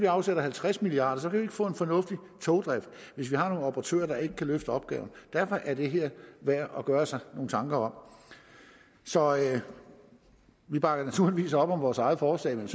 afsætter halvtreds milliard vi ikke få en fornuftig togdrift hvis vi har nogle operatører der ikke kan løfte opgaven derfor er det her værd at gøre sig nogle tanker om så vi bakker naturligvis op om vores eget forslag men